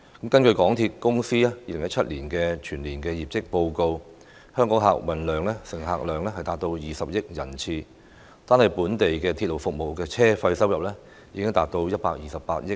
根據港鐵公司2017年的全年業績報告，香港客運總乘客量達到20億人次，單是本地鐵路服務的車費收入已經達到128億元。